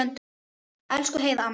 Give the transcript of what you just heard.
Elsku Heiða amma.